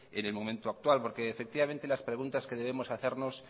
en el momento actual porque las preguntas que debemos hacernos